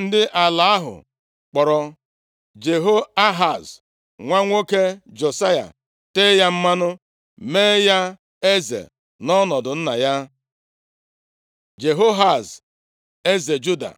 Ndị ala ahụ kpọọrọ Jehoahaz nwa nwoke Josaya, tee ya mmanụ, mee ya eze nʼọnọdụ nna ya. Jehoahaz eze Juda